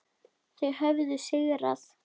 Þau höfðu sigrað.